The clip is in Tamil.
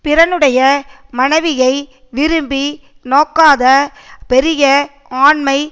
பிறனுடைய மனைவியை விரும்பி நோக்காத பெரிய ஆண்மை